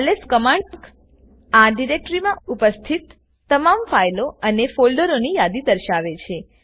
lsકમાંડ આ ડિરેક્ટરીમાં ઉપસ્થિત તમામ ફાઈલો અને ફોલ્ડરોની યાદી દર્શાવે છે